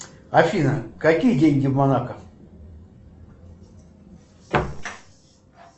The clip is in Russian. афина какие деньги в монако